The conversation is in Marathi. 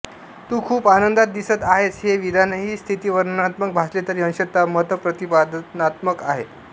तू खूप आनंदात दिसत आहेस हे विधानही स्थितिवर्णनात्मक भासले तरी अंशतः मतप्रतिपादनात्मक आहे